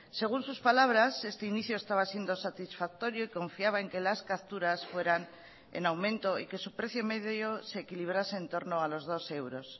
según sus palabras este inicio estaba siendo satisfactorio y confiaba en que las capturas fueran en aumento y que su precio medio se equilibrase en torno a los dos euros